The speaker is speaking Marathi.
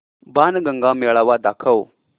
बाणगंगा मेळावा दाखव